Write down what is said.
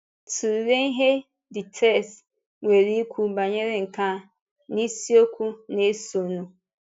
Tụlee ihe the text nwere ikwu banyere nke a n’isiokwu na-esonụ.